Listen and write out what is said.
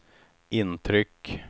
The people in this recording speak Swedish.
intryck